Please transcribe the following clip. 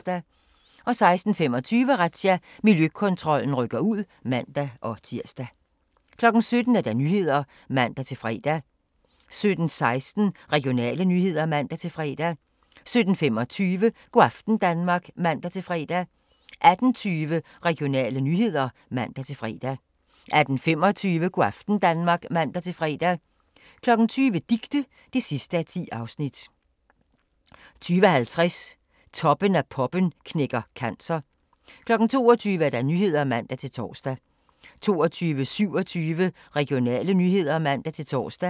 16:25: Razzia – Miljøkontrollen rykker ud (man-tir) 17:00: Nyhederne (man-fre) 17:16: Regionale nyheder (man-fre) 17:25: Go' aften Danmark (man-fre) 18:20: Regionale nyheder (man-fre) 18:25: Go' aften Danmark (man-fre) 20:00: Dicte (10:10) 20:50: Toppen af poppen knækker cancer 22:00: Nyhederne (man-tor) 22:27: Regionale nyheder (man-tor)